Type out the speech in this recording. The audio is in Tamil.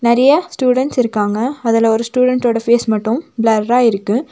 நெறையா ஸ்டுடன்ட்ஸ் இருக்காங்க அதுல ஒரு ஸ்டூடன்ட் ஓட ஃபேஸ் மட்டு ப்லர்ரா இருக்கு.